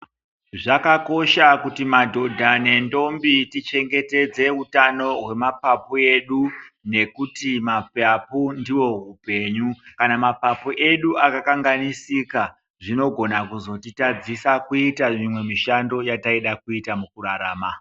Zvakakosha kuti madhoda nendombi tichengetedze utano hwemapapu edu nekuti mapapu ndihwo hupenyu. Kana mapapu edu akakanganisika, zvinogona kuzotitadzisa kuita imwe mishando yataida kuita mukurarama.